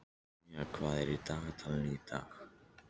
Maía, hvað er á dagatalinu mínu í dag?